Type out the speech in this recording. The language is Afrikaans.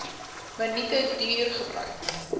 minute duur gebruik